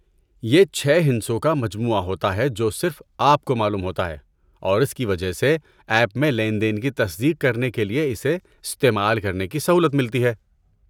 یہ چھے ہندسوں کا مجموعہ ہوتا ہے جو صرف آپ کو معلوم ہوتا ہے اور اس کی وجہ سے ایپ میں لین دین کی تصدیق کرنے کے لیے اسے استعمال کرنے کی سہولت ملتی ہے